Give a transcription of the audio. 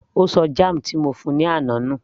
Ó ṣọ jam ti mo fún -un ní àná nù